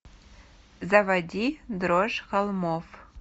заводи дрожь холмов